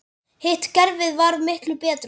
Hitt kerfið var miklu betra.